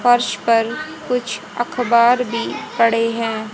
फर्श पर कुछ अखबार भी पड़े हैं।